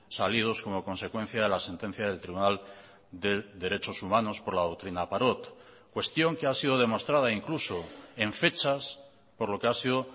salidos como consecuencia de la sentencia del tribunal de derechos humanos por la doctrina parot cuestión que ha sido demostrada incluso en fechas por lo que ha sido